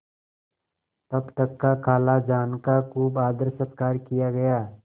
तब तक खालाजान का खूब आदरसत्कार किया गया